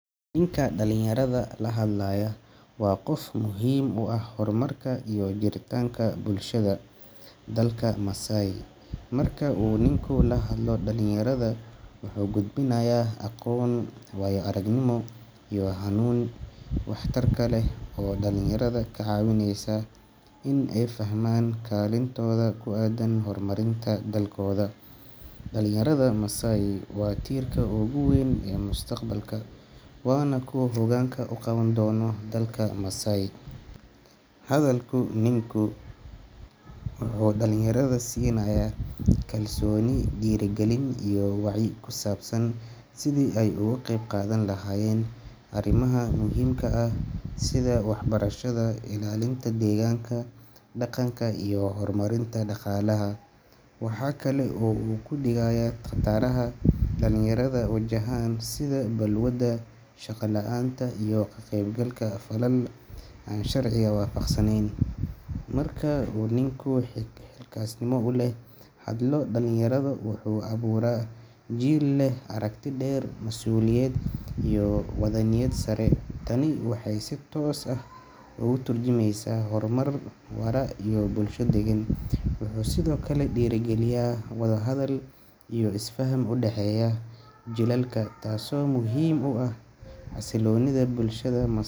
Ninka dhalinyarada la hadlayaa waa qof muhiim u ah horumarka iyo jiritaanka bulshada dalka Masai. Marka uu ninku la hadlo dhalinyarada, wuxuu gudbinayaa aqoon, waayo-aragnimo iyo hanuunin wax tar leh oo dhalinyarada ka caawinaysa inay fahmaan kaalintooda ku aaddan horumarinta dalkooda. Dhalinyarada Masai waa tiirka ugu weyn ee mustaqbalka, waana kuwa hoggaanka u qaban doona dalka tobaneeyo sano kadib. Hadalka ninkan wuxuu dhalinyarada siinayaa kalsooni, dhiirigelin iyo wacyi ku saabsan sidii ay uga qeybqaadan lahaayeen arrimaha muhiimka ah sida waxbarashada, ilaalinta deegaanka, dhaqanka, iyo horumarinta dhaqaalaha. Waxa kale oo uu ka digayaa khataraha ay dhalinyarada wajahaan sida balwadaha, shaqo la’aanta iyo ka qaybgalka falal aan sharciga waafaqsanayn. Marka uu ninku si xilkasnimo leh ula hadlo dhalinyarada, wuxuu abuuraa jiil leh aragti dheer, mas’uuliyad iyo waddaniyad sare. Tani waxay si toos ah uga tarjumaysaa horumar waara iyo bulsho degan. Wuxuu sidoo kale dhiirrigeliyaa wada hadal iyo isfaham u dhexeeya jiilalka, taasoo muhiim u ah xasiloonida bulshada .